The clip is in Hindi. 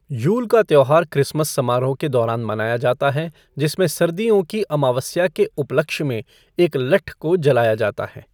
यूल का त्योहार क्रिसमस समारोह के दौरान मनाया जाता है, जिसमें सर्दियों की अमावस्या के उपलक्ष्य में एक लट्ठ को जलाया जाता है।